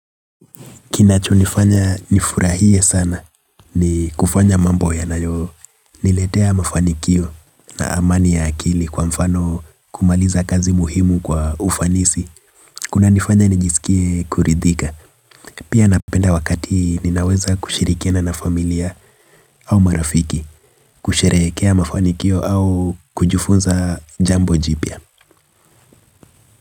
Kinacho nifanya nifurahie sana ni kufanya mambo yanayo niletea mafanikio na amani ya akili kwa mfano kumaliza kazi muhimu kwa ufanisi. Kuna nifanya nijisikie kuridhika. Pia napenda wakati nina weza kushirihikiana na familia au marafiki kusherehekea mafanikio au kujufunza jambo jipya.